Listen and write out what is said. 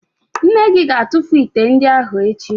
Nne gị ga-atụfu ite ndị ahụ echi